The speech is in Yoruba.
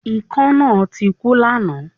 Ikán náà tik ú lánáàn